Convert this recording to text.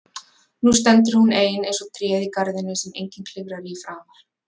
Nú stendur hún ein eins og tréð í garðinum sem enginn klifrar í framar.